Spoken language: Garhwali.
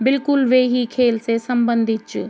बिलकुल वेही खेल से सम्बंधित च ।